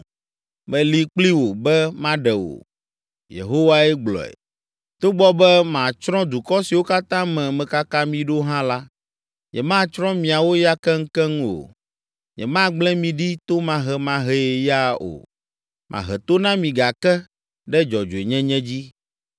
Meli kpli wò be maɖe wò.” Yehowae gblɔe. “Togbɔ be matsrɔ̃ dukɔ siwo katã me mekaka mi ɖo hã la, nyematsrɔ̃ miawo ya keŋkeŋ o. Nyemagblẽ mi ɖi tomahemahee ya o, mahe to na mi gake ɖe dzɔdzɔenyenye dzi.